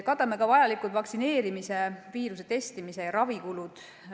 Katame ka vajalikud vaktsineerimise, testimise ja ravi kulud.